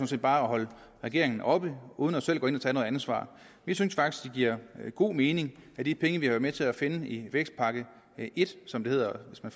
set bare at holde regeringen oppe uden selv at gå ind og tage noget ansvar vi synes faktisk det giver god mening at de penge vi har været med til at finde i vækstpakke et som den hedder hvis man